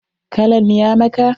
Kalan ya maka?